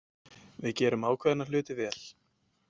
Við gerðum ákveðna hluti vel.